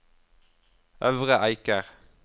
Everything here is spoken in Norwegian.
Øvre Eiker